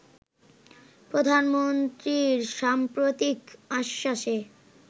প্রধানমন্ত্রীর সাম্প্রতিক আশ্বাসে